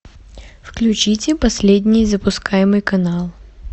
включите последний запускаемый канал